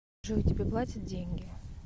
джой тебе платят деньги